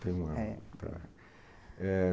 Tem um ano. É. Tá. Eh